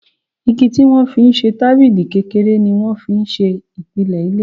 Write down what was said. Igi tí wọ́n fi ń ṣe tábìlì kékeré ni wọ́n fi ń ṣe ìpìlẹ̀ ilé